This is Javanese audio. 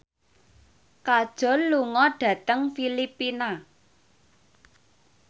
Kajol lunga dhateng Filipina